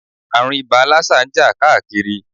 Ààrùn ibà lásà ń jà káàkiri.